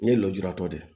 N ye lujuratɔ de ye